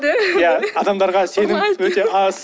ия адамдарға сену өте аз